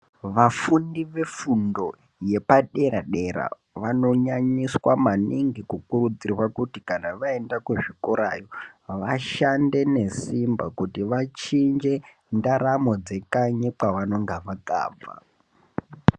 Vafundi ve fundo yepa dera dera vano nyanyiswa maningi ku kudzirwa kuti kana vaenda ku zvikorayo vashande ne simba kuti vachinje ndaramo dze kanyi kwa vanonga vakabva.